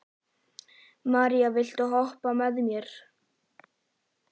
Maia, viltu hoppa með mér?